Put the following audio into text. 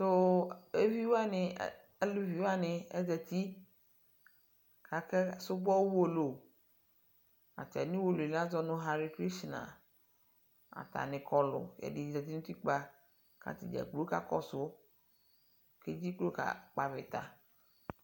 Eviwani alʋviwani ezati kakesubɔ Uwolowu atami Uwolowu azɔ nu Hicrishna atani kɔluɛdɛ zati nutikpakatadʒakplo kakɔsu kedʒiklo kakpavita